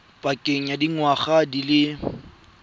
pakeng ya dingwaga di le